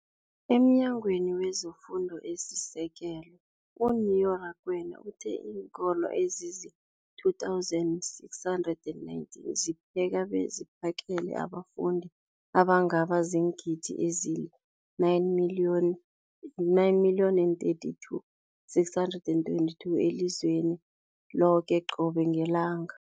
EmNyangweni wezeFundo esiSekelo, u-Neo Rakwena, uthe iinkolo ezizi-20 619 zipheka beziphakele abafundi abangaba ziingidi ezili-9 million, 9 032 622 elizweni loke qobe ngelanga.